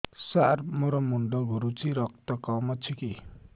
ସାର ମୋର ମୁଣ୍ଡ ଘୁରୁଛି ରକ୍ତ କମ ଅଛି କି